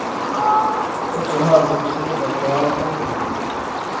Også her vokste det opp et bærekraftig miljø.